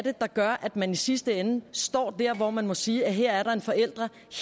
er der gør at man i sidste ende står der hvor man må sige at her er der en forælder